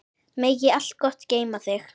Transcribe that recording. Megi allt gott geyma þig.